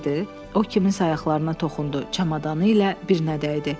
O kimsənin ayaqlarına toxundu, çamadanı ilə birinə dəydi.